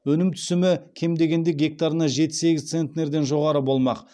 өнім түсімі кем дегенде гектарына жеті сегіз центнерден жоғары болмақ